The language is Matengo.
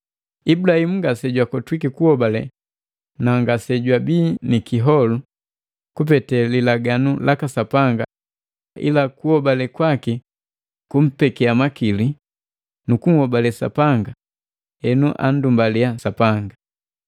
Ibulahimu ngase jakotwiki kuhobale na ngase jwaabii nikiholu kupete lilaganu laka Sapanga ila kuhobale kwaki kumpekia makili nukunhobale Sapanga henu anndumbalia Sapanga.